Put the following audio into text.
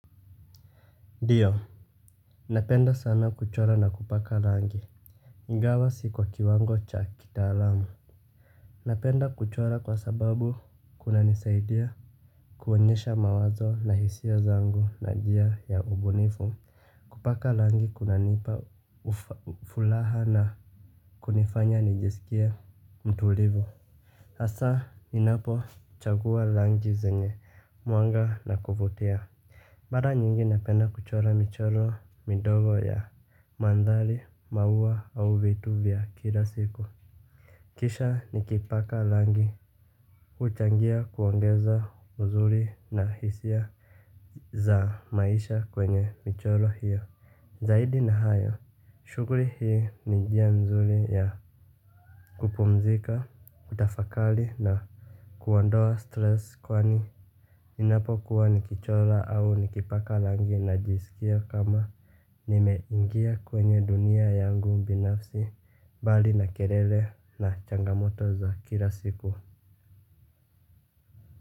Ndio. Napenda sana kuchora na kupaka rangi ingawa siko kiwango cha kitaalamu. Napenda kuchora kwa sababu kunanisaidia kuonyesha mawazo na hisia zangu na njia ya ubunifu. Kupaka langi kunanipa fulaha na kunifanya nijisikie mtulivu hasaa ninapochagua langi zenye mwanga na kuvutia mada nyingi napenda kuchora michoro midogo ya mandhari, maua au vitu vya kila siku. Kisha nikipaka rangi huchangia kuongeza uzuri na hisia za maisha kwenye michoro hiyo. Zaidi na hayo, shughuli hii ni njia mzuri ya kupumzika, kutafakari na kuondoa stress kwani ninapokuwa nikichora au nikipaka rangi najisikia kama nimeingia kwenye dunia yangu binafsi, mbali na kelele na changamoto za kila siku.